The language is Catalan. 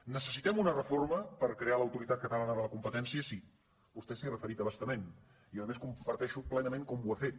necessitem una reforma per crear l’autoritat catalana de la competència sí vostè s’hi ha referit a bastament i a més comparteixo plenament com ho ha fet